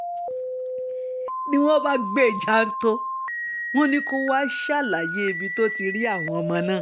ni wọ́n bá gbé e jàńtọ́ wọn ni kó wàá ṣàlàyé ibi tó ti rí àwọn owó náà